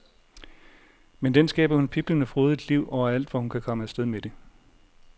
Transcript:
Med den skaber hun piblende frodigt liv overalt hvor hun kan komme afsted med det.